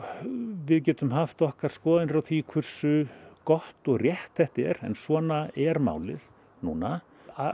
við getum haft okkar skoðanir á því hversu gott og rétt þetta er en svona er málið núna